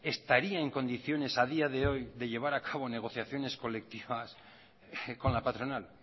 estaría en condiciones a día de hoy de llevar a cabo negociaciones colectivas con la patronal